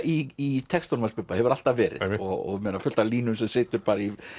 í textunum hans Bubba hefur alltaf verið og fullt af línum sem situr í